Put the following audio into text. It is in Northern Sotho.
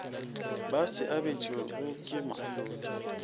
ba se abetšwego ke mohlodi